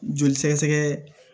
Joli sɛgɛsɛgɛ